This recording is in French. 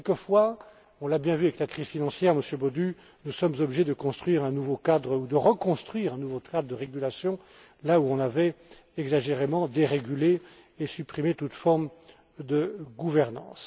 Mais quelquefois, on l'a bien vu avec la crise financière, Monsieur Bodu, nous sommes obligés de construire ou de reconstruire un nouveau cadre de régulation là où on avait, exagérément, dérégulé et supprimé toute forme de gouvernance.